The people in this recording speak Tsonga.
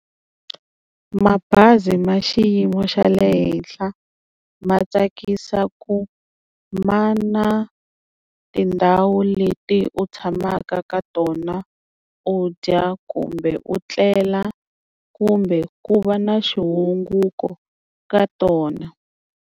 Mabazi ma xiyimo xa le henhla ma tsakisa ku ma na tindhawu leti u tshamaka ka tona u dya kumbe u tlela kumbe ku va na xihunguko ka tona.